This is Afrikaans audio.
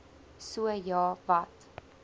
so ja wat